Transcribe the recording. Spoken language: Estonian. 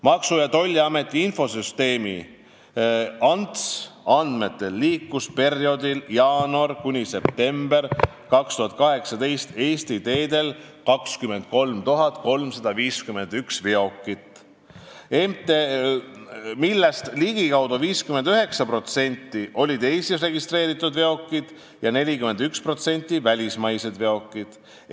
Maksu- ja Tolliameti infosüsteemi ANTS andmetel liikus perioodil jaanuarist septembrini 2018 Eesti teedel 23 351 veokit, millest ligikaudu 59% olid Eestis registreeritud veokid ja 41% välismaised veokid.